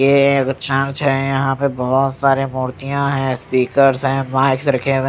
ये एक छांव छे यहां पे बहोत सारी मूर्तियां हैं स्पीकर्स हैं माइक्स रखे हुए--